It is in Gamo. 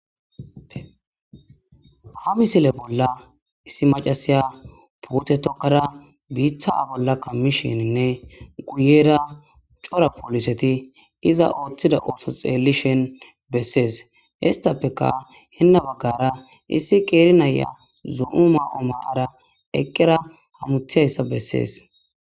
Ha misile bolla issi macasiya puute tokada biita a bolla kamishininne guyera cora pooliseti iza ooththida ooso xeellishen bessees. histappeka henna baggara issi qeeri naya zo7o maa7o maa7ara eqqera hamutiyayssa bessees.